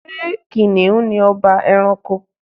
Ṣé Kìnìún ni ọba ẹranko?